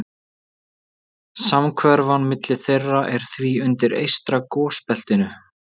Samhverfan milli þeirra er því undir eystra gosbeltinu.